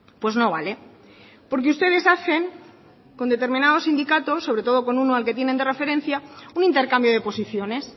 pues no vale porque ustedes hacen con determinados sindicatos sobre todo con uno al que tienen de referencia un intercambio de posiciones